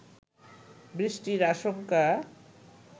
বৃষ্টির আশঙ্কা